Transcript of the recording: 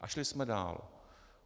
A šli jsme dál.